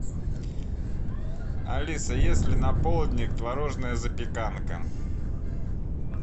алиса есть ли на полдник творожная запеканка